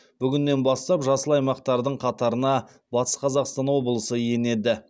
бүгіннен бастап жасыл аймақтардың қатарына батыс қазақстан облысы енеді